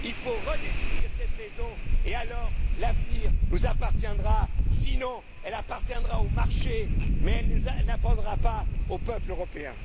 Il faut redéfinir cette raison et alors l'avenir nous appartiendra, sinon il appartiendra aux marchés, mais il n'appartiendra pas au peuple européen.